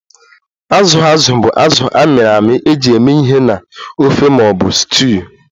Azụ azụ bụ azụ a mịrị amị eji eme ihe na ofe ma ọ bụ stuuyu